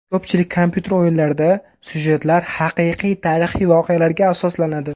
Ko‘pchilik kompyuter o‘yinlarida syujetlar haqiqiy tarixiy voqealarga asoslanadi.